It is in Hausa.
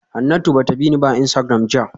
Hanatu ba ta bi ni a Instagram jiya ba